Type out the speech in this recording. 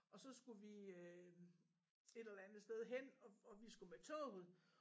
Og så skulle vi øh et eller andet sted hen og og vi skulle med toget